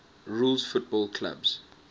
rules football clubs